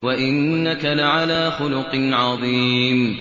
وَإِنَّكَ لَعَلَىٰ خُلُقٍ عَظِيمٍ